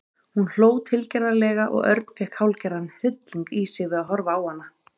Hún hló tilgerðarlega og Örn fékk hálfgerðan hrylling í sig við að horfa á hana.